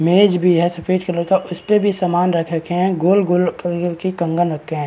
मेज भी है सफ़ेद कलर का उसपे भी सामान रख रखे है। गोल-गोल की कंगन रखे हैं।